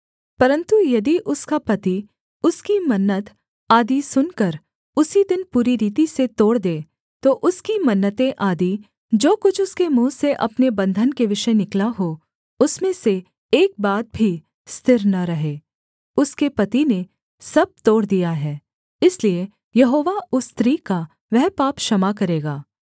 परन्तु यदि उसका पति उसकी मन्नत आदि सुनकर उसी दिन पूरी रीति से तोड़ दे तो उसकी मन्नतें आदि जो कुछ उसके मुँह से अपने बन्धन के विषय निकला हो उसमें से एक बात भी स्थिर न रहे उसके पति ने सब तोड़ दिया है इसलिए यहोवा उस स्त्री का वह पाप क्षमा करेगा